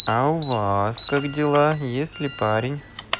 а у вас как дела есть ли парень